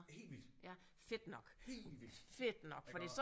Helt vildt helt vildt iggå